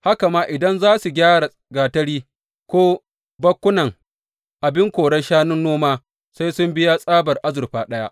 Haka ma idan za su gyara gatari ko bakunan abin korar shanun noma sai sun biya tsabar azurfa ɗaya.